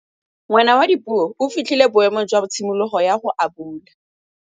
Ngwana wa Dipuo o fitlhile boêmô jwa tshimologô ya go abula.